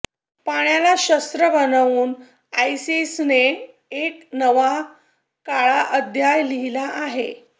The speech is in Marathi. पाण्याला शस्त्र बनवून आयसीसने एक नवा काळा अध्याय लिहिला आहे